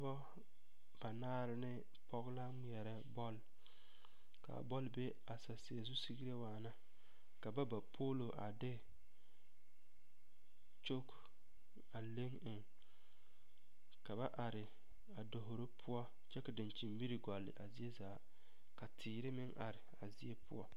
Dɔba banaare ne pɔge la ŋmeɛrɛ bɔle k,a bɔle be a saseɛ zu sigre waana ka ba ba poolo a de kyogi a le eŋ ka ba are a davoro poɔ kyɛ ka dankyinmiri gɔle a zie zaa ka teere meŋ are a zie poɔ.